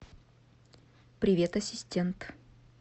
привет ассистент